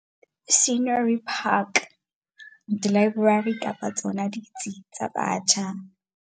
Scenery Park, dilaeborari kapa tsona ditsi tsa batjha.